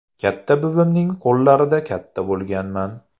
Katta buvimning qo‘llarida katta bo‘lganman.